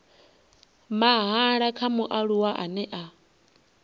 mahala kha mualuwa ane a